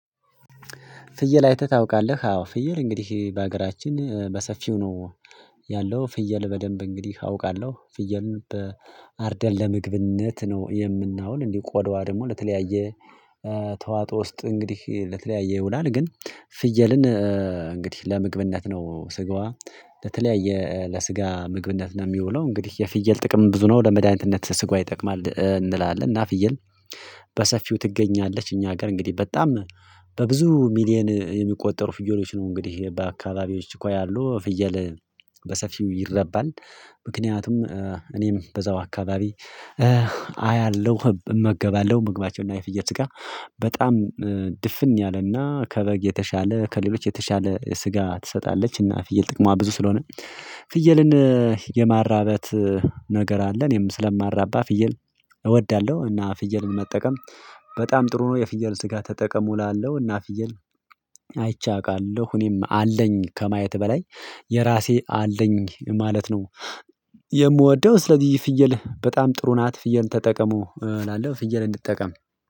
ፍየል አይተህ ታውቃለህ? አዎ ፍየል እንግዲህ በሀገራችን በሰፊው ነው። ያለው ፍየል በደንብ እንግዲህ አውቃለሁ ፍየልን በአርደን ለምግብነት ነው የምናውል እንዲሁ ቆዳዋ ደግሞ ለተለያየ ተዋጦ ውስጥ እንግዲህ ለተለያየ ይውላል። ግን ፍየልን እንግዲህ ለምግብነት ነው ስጋዋ ለተለያየ ለስጋ ምግብነት ነው የሚውለው። እንግዲህ የፍየል ጥቅም ብዙ ነው ለመድኃኒትነት ስጋዋ ይጠቅማል እንላለን። እና ፍየል በሰፊው ትገኛለች እኛ ሀገር እንግዲህ በጣም በብዙ ሚሊየን የሚቆጠሩ ፍየሎች ነው እንግዲህ በአካባቢዎች እኮ ያሉ ፍየል በሰፊው ይረባል። ምክንያቱም እኔም በዛው አካባቢ አያለሁ እመገባለሁ ምግባቸው እና የፍየል ስጋ በጣም ድፍን ያለ እና ከበግ የተሻለ ከሌሎች የተሻለ ስጋ ትሰጣለች። እና ፍየል ጥቅሟ ብዙ ስለሆነ ፍየልን የማራበት ነገር አለ እኔም ስለማራባ ፍየል እወዳለሁ። እና ፍየልን መጠቀም በጣም ጥሩ ነው። የፍየል ስጋ ተጠቀሙ እላለሁ እና ፍየል አይቼ አውቃለሁ እኔም አለኝ ከማየት በላይ የራሴ አለኝ ማለት ነው። የምወደው ስለዚህ ፍየል በጣም ጥሩ ናት ፍየል ተጠቀሙ እላለሁ ፍየል እንጠቀም።